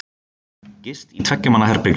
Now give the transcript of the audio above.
Gist í tveggja manna herbergjum.